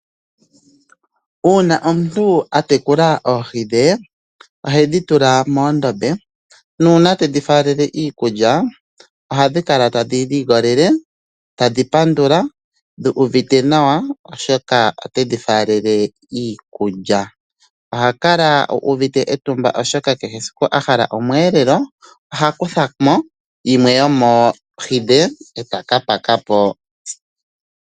Una omuntu a tekula oohi dhe ohedhi tula moondombe nuuna tedhi faalele iikulya ohadhi kala tadhi ligolele tadhi pandula dhu uvite nawa oshoka otedhi faalele iikulya. Oha kala uvite etumba oshoka kehe siku ahala oomwelelo oha kuthamo yimwe yoomo oohi dhe etaka pakapo.